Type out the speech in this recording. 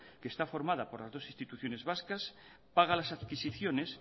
que está formada por las dos instituciones vascas paga las adquisiciones